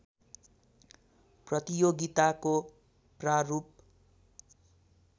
प्रतियोगिताको प्रारूप